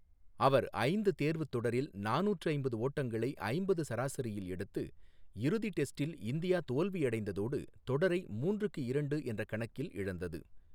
அவர் ஐந்து தேர்வுத் தொடரில் நானூற்று ஐம்பது ஓட்டங்களை ஐம்பது சராசரியில் எடுத்து, இறுதி டெஸ்டில் இந்தியா தோல்வியடைந்ததோடு தொடரை மூன்றுக்கு இரண்டு என்ற கணக்கில் இழந்தது.